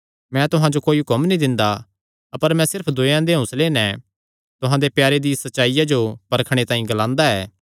मैं तुहां जो कोई हुक्म नीं दिंदा अपर मैं सिर्फ दूयेयां दे हौंसले नैं तुहां दे प्यारे दिया सच्चाईया जो परखणे तांई ग्लांदा ऐ